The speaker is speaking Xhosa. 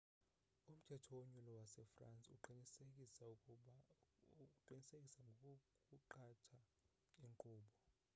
umthetho wonyulo wase-france uqinisekisa ngokuqatha inkqubo